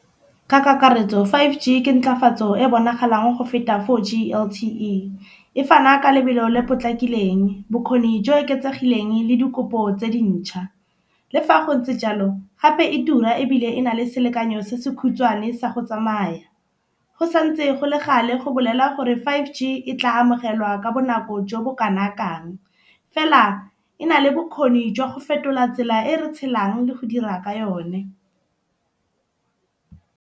Ka kakaretso five G ke nthwafatso e bonagalang go feta four G L_T_E. E fana ka lebelo le potlakileng, bokgoni jo bo oketsegileng le dikopo tse dintšha. Le fa go ntse jalo gape e tura ebile e na le selekanyo se se khutshwane sa go tsamaya. Go santse go le gale go bolella gore five G e tla amogelwa ka bonako jo bo kanakang. Fela e na le bokgoni jwa go fetola tsela e re tshelang le go dira ka yone.